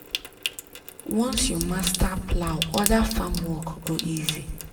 once you master plow other farm work go easy.